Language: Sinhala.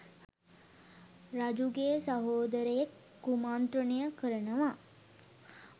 රජුගේ සහෝදරයෙක් කුමන්ත්‍රණය කරනවා